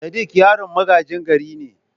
Sadik yaron magajin gari ne.